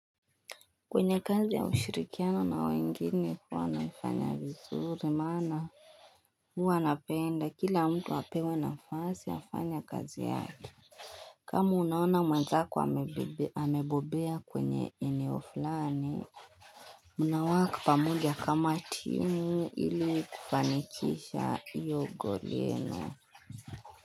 Kwenye kazi ya ushirikiano na wengine huwa nafanya vizuri maana huwa napenda kila mtu apewe nafasi ya kufanya kazi yake kama unaona mwenzako amebobea kwenye eneo fulani Muna work pamoja kama timu ili kifanikisha hio goal yenu.